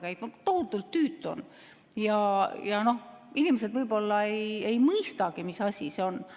See on tohutult tüütu ja inimesed võib-olla ei mõistagi, mis asi see on.